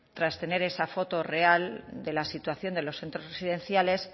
tras tener esa foto real de la situación de los centros residenciales